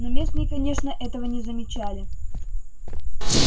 но местные конечно этого не замечали